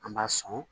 An b'a sɔn